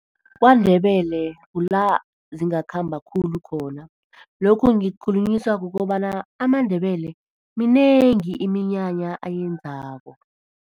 KwaNdebele kula zingakhamba khulu khona. Lokhu ngikukhulunyiswa kukobana amaNdebele minengi iminyanya ayenzako.